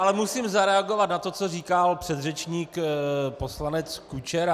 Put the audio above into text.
Ale musím zareagovat na to, co říkal předřečník poslanec Kučera.